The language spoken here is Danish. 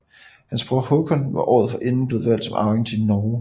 Hans bror Håkon var året forinden blevet valgt som arving til Norge